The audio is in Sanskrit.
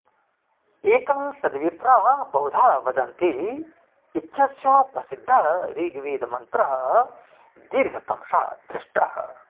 एकं सद्विप्रा बहुधा वदन्ति इत्यस्य प्रसिद्धः ऋग्वेदमन्त्रः दीर्घतमसा दृष्टः